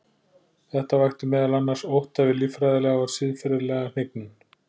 Þetta vakti meðal annars ótta við líffræðilega og siðferðilega hnignun.